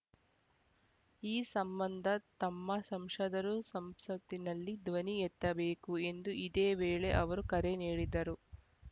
ಈ ಸಂಬಂಧ ತಮ್ಮ ಸಂಶದರು ಸಂಸತ್ತಿನಲ್ಲಿ ಧ್ವನಿ ಎತ್ತಬೇಕು ಎಂದು ಇದೇ ವೇಳೆ ಅವರು ಕರೆ ನೀಡಿದರು